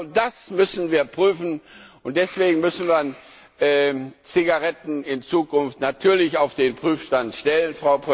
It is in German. Genau das müssen wir prüfen, und deswegen müssen wir Zigaretten in Zukunft natürlich auf den Prüfstand stellen.